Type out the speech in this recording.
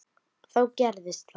Þá gerðist það.